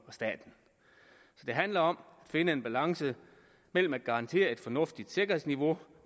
og stat så det handler om at finde en balance mellem at garantere et fornuftigt sikkerhedsniveau